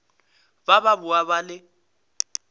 ba ba boa ba le